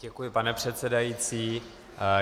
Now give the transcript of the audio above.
Děkuji, pane předsedající.